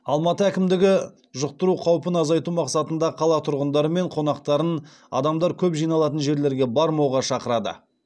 алматы әкімдігі жұқтыру қаупін азайту мақсатында қала тұрғындары мен қонақтарын адамдар көп жиналатын жерлерге бармауға шақырады